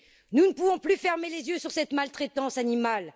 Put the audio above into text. Nous ne pouvons plus fermer les yeux sur cette maltraitance animale.